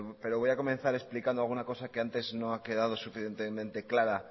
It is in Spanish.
pero voy a comenzar explicando alguna cosa que antes no ha quedado suficientemente clara